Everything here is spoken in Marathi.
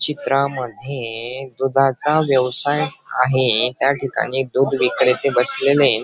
चित्रामध्ये दुधाचा व्यवसाय आहे त्याठिकाणी दूध विक्रेते बसलेले.